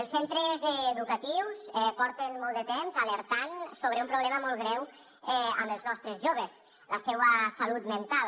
els centres educatius porten molt de temps alertant sobre un problema molt greu amb els nostres joves la seua salut mental